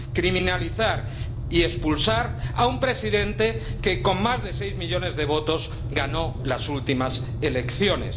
criminalizar y expulsar a un presidente que, con más de seis millones de votos, ganó las últimas elecciones.